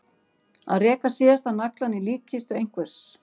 Að reka síðasta naglann í líkkistu einhvers